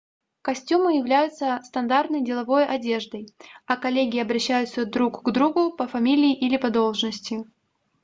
костюмы являются стандартной деловой одеждой а коллеги обращаются друг к другу по фамилии или по должности